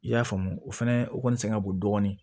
I y'a faamu o fɛnɛ o kɔni sɛgɛn ka bon dɔɔni